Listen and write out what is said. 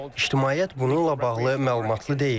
İctimaiyyət bununla bağlı məlumatlı deyil.